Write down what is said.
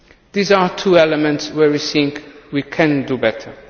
These are two elements where we think we can do better.